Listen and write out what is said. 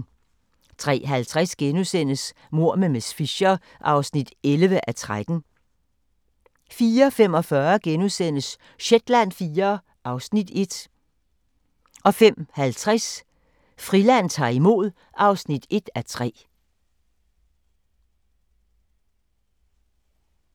03:50: Mord med miss Fisher (11:13)* 04:45: Shetland IV (Afs. 1)* 05:50: Friland ta'r imod (1:3)